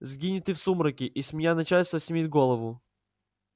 сгинь и ты в сумраке и с меня начальство снимет голову